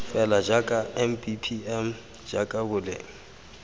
fela jaaka mbpm jaaka boleng